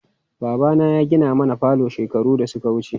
Babana ya gina mana falo shekaru da suka wuce.